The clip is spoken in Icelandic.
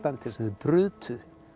sem þeir brutu